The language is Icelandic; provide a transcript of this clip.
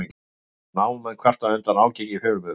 Námumenn kvarta undan ágangi fjölmiðla